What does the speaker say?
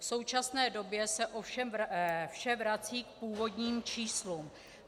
V současné době se ovšem vše vrací k původním číslům.